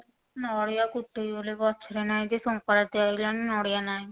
ନଡିଆ ଫୁଟେଇବି ବୋଲି ଗଛ ରେ ନାଇଁ ଯେ ସଙ୍କ୍ରାନ୍ତି ଆଇଲାଣି ନଡିଆ ନାହିଁ